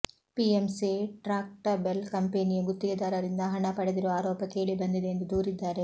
PMC Tractebel ಕಂಪನಿಯು ಗುತ್ತಿಗೆದಾರರದಿಂದ ಹಣ ಪಡೆದಿರುವ ಆರೋಪ ಕೇಳಿ ಬಂದಿದೆ ಎಂದು ದೂರಿದ್ದಾರೆ